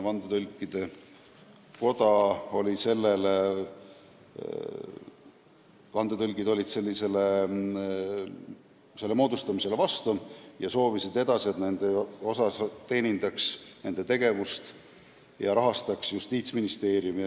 Vandetõlgid olid selle moodustamisele vastu ja soovisid, et nende tegevust rahastaks ka edaspidi Justiitsministeerium.